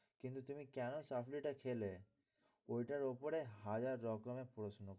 কিন্তু তিনি কেন চাকরিটা খেলে ওইটার উপরে হাজার রকমের প্রশ্ন।